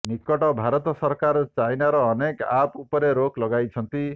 ନିକଟରେ ଭାରତ ସରକାର ଚାଇନାର ଅନେକ ଆପ୍ସ ଉପରେ ରୋକ୍ ଲଗାଇଛନ୍ତି